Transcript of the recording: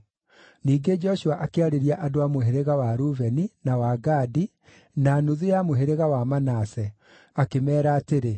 Ningĩ Joshua akĩarĩria andũ a mũhĩrĩga wa Rubeni, na wa Gadi, na nuthu ya mũhĩrĩga wa Manase, akĩmeera atĩrĩ,